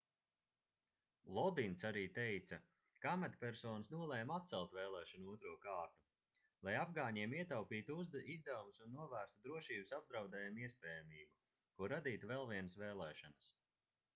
lodins arī teica ka amatpersonas nolēma atcelt vēlēšanu otro kārtu lai afgāņiem ietaupītu izdevumus un novērstu drošības apdraudējuma iespējamību ko radītu vēl vienas vēlēšanas